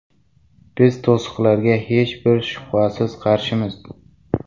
Biz to‘siqlarga hech bir shubhasiz qarshimiz.